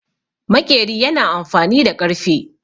Maƙeri yana amfani da ƙarfe.